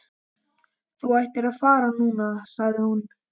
Þú ættir að fara núna, sagði hún.